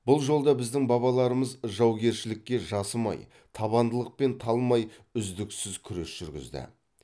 бұл жолда біздің бабаларымыз жаугершілікке жасымай табандылықпен талмай үздіксіз күрес жүргізді